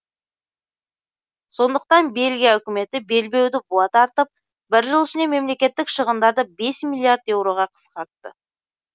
сондықтан бельгия үкіметі белбеуді буа тартып бір жыл ішінде мемлекеттік шығындарды бес миллиард еуроға қысқартты